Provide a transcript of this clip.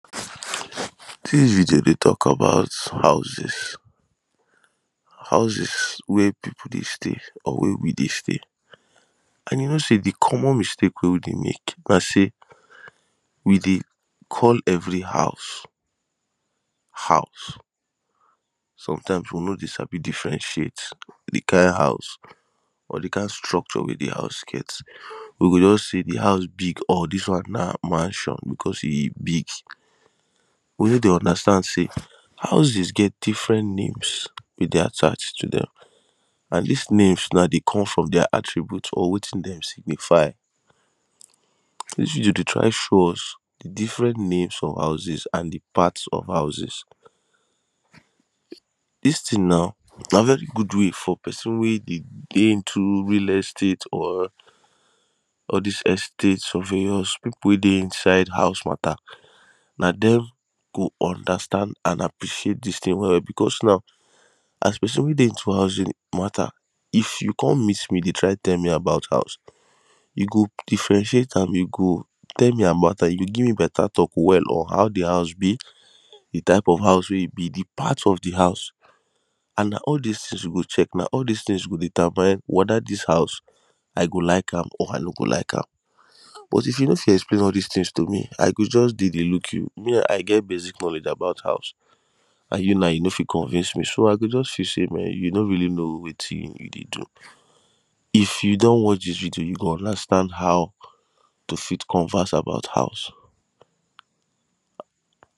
Dis video dey tok about houses. Houses wey people dey stay or wey we dey stay and e know say de common mistake wey we dey mek na say we dey call every house house sometime we no dey sabi differentiate de kain house or the kain structure wey the house get. We go just say de house big or dis one na mansion because e big we no dey understand say houses get different names wey dey attached to dem and dis names now dey come from dia attribute or wetin dem signify. dis video dey try show us different names of houses and de part of houses dis tin now na very good way for pesin wey dey day into real estate or all dis estate surveyors. People wey dey inside house mata na dem go understand an appreciate dis tin well becos now as a person wey dey into housing mata if you come meet me dey try tell me about house you go differentiate am you go tell me about am you go give me better talk well on how de house be de type of house wey e be de part of the house and na all these tins you go check na all all dis tin go determine weda dis house I go like am or i no go like am but if you no fit explain all dis tin to me I go just dey dey look you me I get basic knowledge about house and you now you no fit convince me so I go just feel say mehn you no really know wetin you dey do If you don watch dis video you go understand how to fit converse about house